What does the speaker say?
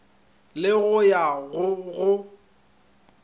le go ya go go